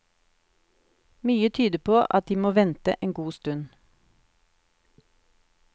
Mye tyder på at de må vente en god stund.